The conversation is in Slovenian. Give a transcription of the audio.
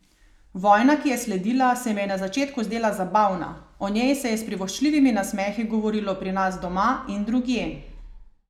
Vojna, ki je sledila, se mi je na začetku zdela zabavna, o njej se je s privoščljivimi nasmehi govorilo pri nas doma in drugje.